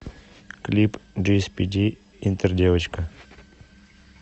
клип джиэспиди интердевочка